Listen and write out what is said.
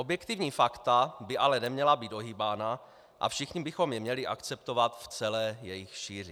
Objektivní fakta by ale neměla být ohýbána a všichni bychom je měli akceptovat v celé jejich šíři.